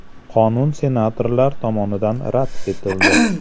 Qonun senatorlar tomonidan rad etildi.